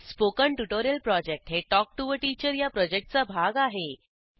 spoken tutorial project हे talk to teacher या प्रॉजेक्टचा भाग आहे